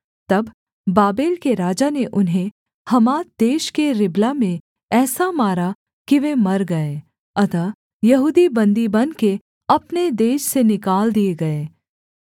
तब बाबेल के राजा ने उन्हें हमात देश के रिबला में ऐसा मारा कि वे मर गए अतः यहूदी बन्दी बनके अपने देश से निकाल दिए गए